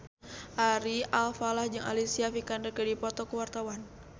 Ari Alfalah jeung Alicia Vikander keur dipoto ku wartawan